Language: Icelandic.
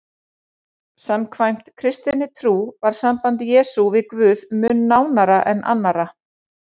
Samkvæmt kristinni trú var samband Jesú við Guð mun nánara en annarra.